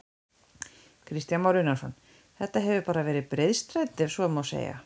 Kristján Már Unnarsson: Þetta hefur bara verið breiðstræti ef svo má segja?